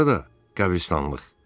Sonra da qəbristanlıq.